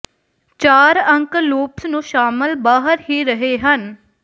ਚਾਰ ਅੰਕ ਲੂਪਸ ਨੂੰ ਸ਼ਾਮਿਲ ਬਾਹਰ ਹੀ ਰਹੇ ਹਨ